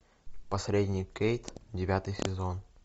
посредник кейт девятый сезон